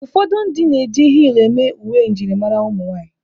Ụfọdụ ndị na-eji hiilụ eme uwe njirimara ụmụ nwaanyị.